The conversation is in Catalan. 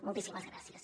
moltíssimes gràcies